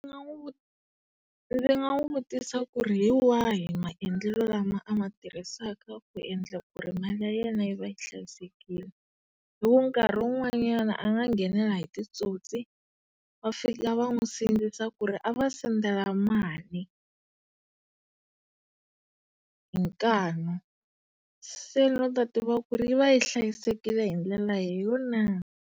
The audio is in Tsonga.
ndzi nga n'wi vutisa ku ri hi wahi maendlelo lama ama tirhisaka ku endla ku ri mali ya yena yi va yi hlayisekile. Hiku nkarhi wun'wanyana a nga nghenela hi titsotsi, va fika va n'wi sindzisa ku ri a va sendela mali hi nkani. Se ni la ku ta tiva ku ri yi va yi hlayisekile hi ndlela leyo na?